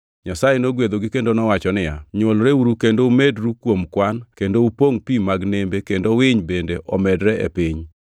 Nyasaye nogwedhogi kendo owacho niya, “Nywolreuru kendo umedru kuom kwan kendo upongʼ pi mag nembe kendo winy bende omedre e piny.”